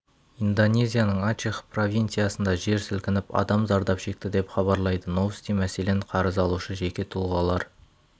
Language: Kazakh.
индонезияның ачех провинциясында жер сілкініп адам зардап шекті деп хабарлайды новости мәселен қарыз алушы жеке тұлғалар